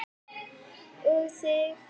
Og þig.